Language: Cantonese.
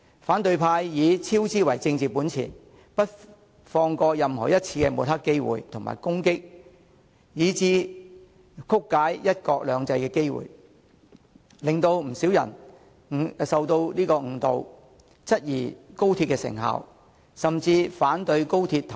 反對派以超支為政治本錢，不放過任何一次抹黑、攻擊及曲解"一國兩制"的機會，使不少人受到誤導，質疑高鐵成效，甚至反對高鐵通車。